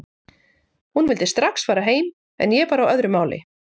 Hún vildi strax fara heim en ég var á öðru máli.